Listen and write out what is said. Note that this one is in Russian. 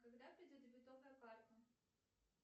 когда придет дебетовая карта